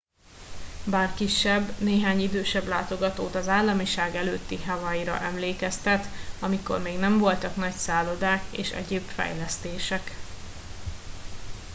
bár kisebb néhány idősebb látogatót az államiság előtti hawaii ra emlékeztet amikor még nem voltak nagy szállodák és egyéb fejlesztések